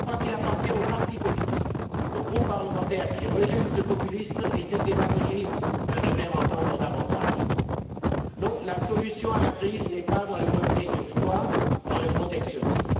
Je crois qu'il appartient aux partis politiques, aux groupes parlementaires qui rejettent ce populisme et cette démagogie, de se faire entendre davantage. Non, la solution à la crise n'est pas dans le repli sur soi, dans le protectionnisme.